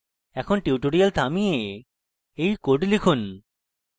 এখন tutorial থামিয়ে you code লিখুন